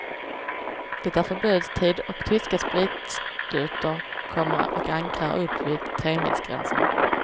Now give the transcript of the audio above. Det är förbudstid och tyska spritskutor kommer och ankrar upp vid tremilsgränsen.